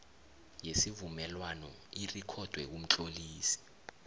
yesivumelwano irikhodwe kumtlolisi